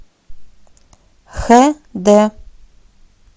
хэ дэ